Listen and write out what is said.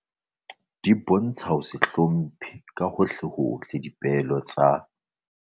Di bontsha ho se hlomphe ka hohlehohle dipehelo tsa